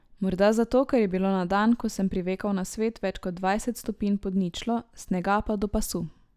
Morda zato, ker je bilo na dan, ko sem privekal na svet, več kot dvajset stopinj pod ničlo, snega pa do pasu.